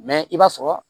i b'a sɔrɔ